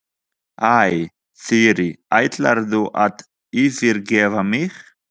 Æ, Týri ætlarðu að yfirgefa mig?